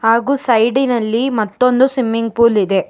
ಹಾಗು ಸೈಡಿನಲ್ಲಿ ಮತ್ತೊಂದು ಸಿಮ್ಮಿಂಗ್ ಪೂಲ್ ಇದೆ.